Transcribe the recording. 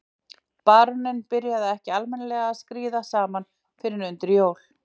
Baróninn byrjaði ekki almennilega að skríða saman fyrr en undir jól.